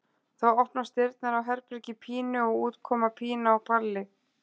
Þá opnast dyrnar á herbergi Pínu og út koma Pína og Palli.